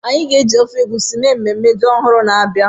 Anyị ga-eji ofe egusi mee ememme ji ọhụrụ na-abịa.